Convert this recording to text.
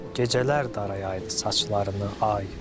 Gecələr darayaydı saçlarını ay.